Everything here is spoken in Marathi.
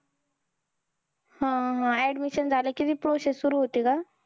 हम्म हम्म addmisssion झाल कि ती process सुरु होते का?